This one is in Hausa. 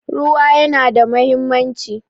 Ruwa ya na da muhimmanci